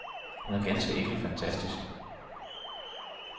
Hun er ganske enkelt fantastisk.